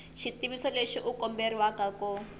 xitiviso lexi u komberiwa ku